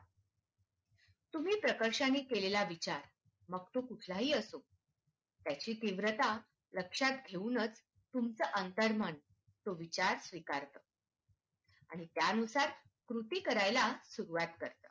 तुम्ही प्रकर्षाने केलेला विचार मग तो कुठला ही असो त्याची तीव्रता लक्षात घेऊनच तुम चं अंतर्मन तो विचार स्वीकार आणि त्यानुसार कृती करायला सुरुवात करत.